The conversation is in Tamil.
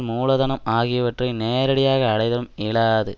மூலதனம் ஆகியவற்றை நேரடியாக அடைதலும் இலாது